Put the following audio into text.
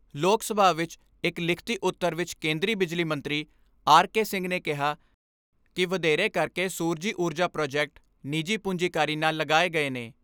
ਲੋਕ ਸਭਾ ਵਿਚ ਇਕ ਲਿਖਤੀ ਉਤਰ ਵਿਚ ਕੇਂਦਰੀ ਬਿਜਲੀ ਮੰਤਰੀ ਆਰ ਕੇ ਸਿੰਘ ਨੇ ਕਿਹਾ ਕਿ ਵਧੇਰੇ ਕਰਕੇ ਸੂਰਜੀ ਊਰਜਾ ਪ੍ਰਾਜੈਕਟ ਨਿਜੀ ਪੂੰਜੀਕਾਰੀ ਨਾਲ ਲਗਾਏ ਗਏ ਨੇ।